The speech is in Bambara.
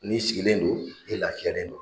N'i sigilen don e lafiyalen don.